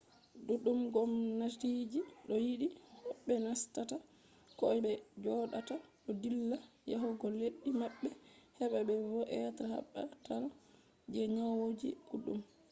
duɗɗum gomnatiji do yidi hoɓɓe nastata koh be jodata do dilla yahugo leddi maɓɓe heba be wanna be batal je nyawoji ɗuɗɗum